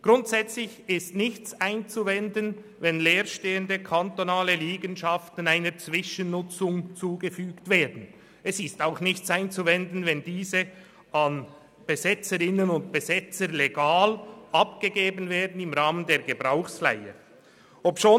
Grundsätzlich ist nichts dagegen einzuwenden, dass leer stehende kantonale Liegenschaften einer Zwischennutzung zugeführt werden, auch nicht, wenn sie an Besetzerinnen und Besetzer legal im Rahmen der Gebrauchsleihe abgegeben werden.